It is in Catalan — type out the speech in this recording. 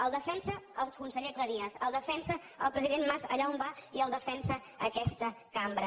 el defensa el conseller cleries el defensa el president mas allà on va i el defensa aquesta cambra